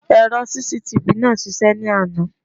Èrò CCTV náà ń ṣiṣẹ́ ní àná.